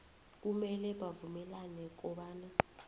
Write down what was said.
kumele bavumelane kobana